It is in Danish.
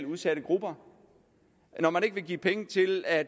udsatte grupper og når man ikke vil give penge til at